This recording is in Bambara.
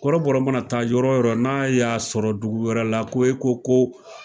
Kɔrɔbɔrɔ mana taa yɔrɔ wo yɔrɔ n'a y'a sɔrɔ dugu wɛrɛ la ko e ko ko.